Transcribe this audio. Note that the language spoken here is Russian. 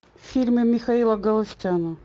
фильмы михаила галустяна